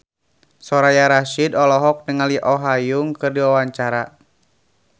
Soraya Rasyid olohok ningali Oh Ha Young keur diwawancara